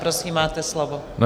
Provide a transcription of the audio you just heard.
Prosím, máte slovo.